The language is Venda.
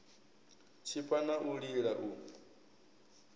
tshipa na u lila u